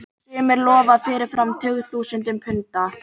Sumir lofa fyrirfram tugþúsundum punda.